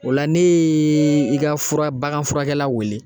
O la ne ye i ka fura bagan furakɛla weele